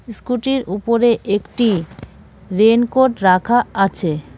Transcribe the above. স্কুটির উপরে একটি রেনকোট রাখা আছে.